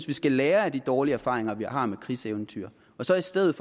vi skal lære af de dårlige erfaringer vi har med krigseventyr og så i stedet